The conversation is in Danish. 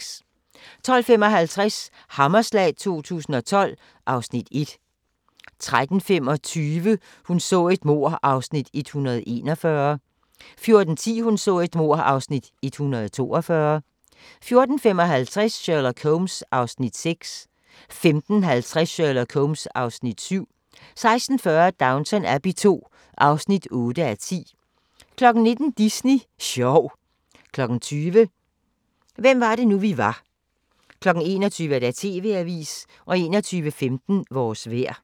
12:55: Hammerslag 2012 (Afs. 1) 13:25: Hun så et mord (Afs. 141) 14:10: Hun så et mord (Afs. 142) 14:55: Sherlock Holmes (Afs. 6) 15:50: Sherlock Holmes (Afs. 7) 16:40: Downton Abbey II (8:10) 19:00: Disney sjov 20:00: Hvem var det nu vi var 21:00: TV-avisen 21:15: Vores vejr